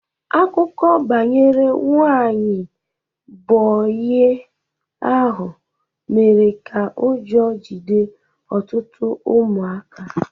Akụkọ banyere nwanyị bogey ahụ mere ka ụjọ jide ọtụtụ ụmụaka